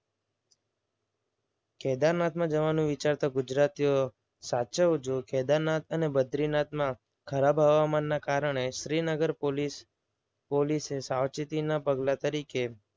કેદારનાથમાં જવાનું વિચારતા ગુજરાતીઓ સાચવજો. કેદારનાથ અને બદ્રીનાથમાં ખરાબ હવામાનના કારણે શ્રીનગર પોલીસ પોલીસે સાવચેતીના પગલા તરીકે